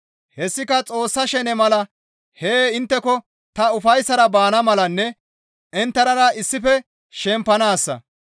Hessika Xoossa shene mala hee intteko ta ufayssara baana malanne inttenara issife shempanaassa.